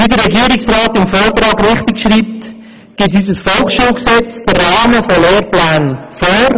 Wie der Regierungsrat im Vortrag richtig schreibt, gibt unser Volksschulgesetz den Rahmen von Lehrplänen vor.